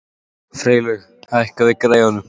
Freylaug, hækkaðu í græjunum.